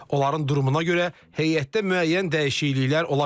Onların durumuna görə heyətdə müəyyən dəyişikliklər ola bilər.